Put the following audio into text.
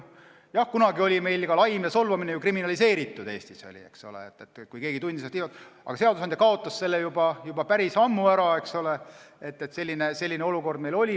Kunagi oli laim ja solvamine Eestis kriminaliseeritud, aga seadusandja kaotas selle juba päris ammu ära.